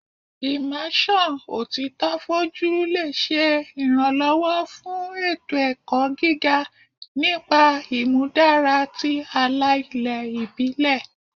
Immersion otito foju le ṣe iranlọwọ fun eto-ẹkọ gige nipa imudara ti ala-ilẹ ibile